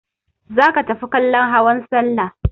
Za ka tafi kallon hawan salla!